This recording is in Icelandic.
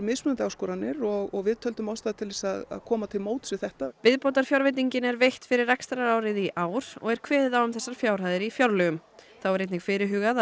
áskoranir og við töldum ástæðu til að koma til móts við þetta viðbótarfjárveitingin er veitt fyrir rekstrarárið í ár og er kveðið á um þessar fjárhæðir í fjárlögum þá er einnig fyrirhugað